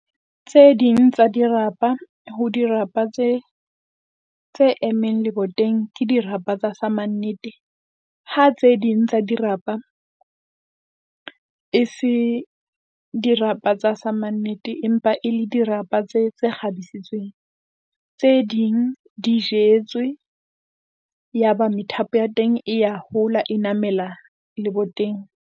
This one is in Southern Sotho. Tse ding tsa dirapa ho dirapa tse tse emmeng leboteng ke dirapa tsa samannete. Ha tse ding tsa dirapa e se dirapa tsa samannete, empa e le dirapa tse tse kgabisitseng tse ding di jetswe. Yaba methapo ya teng e ya hola, e namela leboteng.